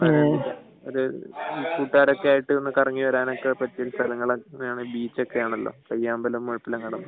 കൂട്ടുകാരൊക്കെ ആയിട്ടു ഒന്ന് കറങ്ങി വരാനും ഒക്കെ പറ്റിയ സ്ഥലങ്ങൾ ബീച്ചൊക്കെ ആണല്ലോ പയ്യാമ്പലം മുഴപ്പിലങ്ങാടൊക്കെ